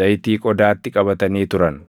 zayitii qodaatti qabatanii turan.